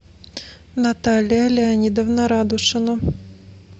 наталья леонидовна радушина